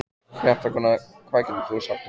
Fréttakona: Hvað getur þú sagt okkur?